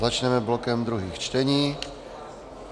Začneme blokem druhých čtení.